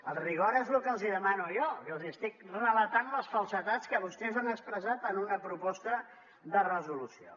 el rigor és el que els demano jo que els estic relatant les falsedats que vostès han expressat en una proposta de resolució